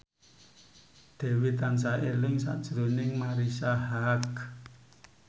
Dewi tansah eling sakjroning Marisa Haque